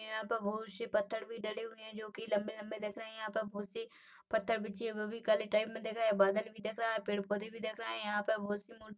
यहाँ पर बहुत सी पत्थर भी डले हुए जो कि लम्बे-लम्बे दिख रहे है यहाँ पर सी पत्थर भी है जो कलि टाइम में दिख रहे है बादल भी दिख रहा है पेड़ पौधे दिख रहे है यहाँ पर बहुत सी--